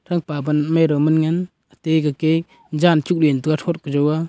thao pa pan madon man ngan ate eke jan tuk .]